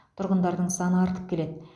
тұрғындардың саны артып келеді